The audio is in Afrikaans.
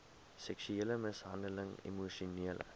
seksuele mishandeling emosionele